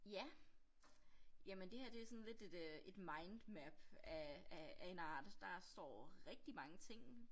Ja jamen det her det sådan lidt et øh et mindmap af af af en art. Der står rigtig mange ting